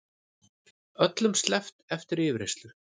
Öllum sleppt eftir yfirheyrslu